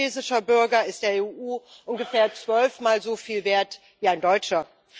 Ein maltesischer Bürger ist der EU ungefähr zwölfmal soviel wert wie ein deutscher.